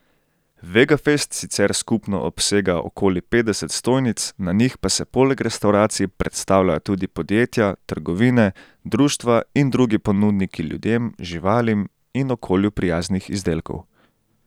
Vegafest sicer skupno obsega okoli petdeset stojnic, na njih pa se poleg restavracij predstavljajo tudi podjetja, trgovine, društva in drugi ponudniki ljudem, živalim in okolju prijaznih izdelkov.